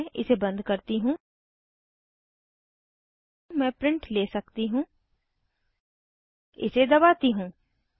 मैं इसे बंद करती हूँ मैं प्रिंट ले सकती हूँ इसे दबाती हूँ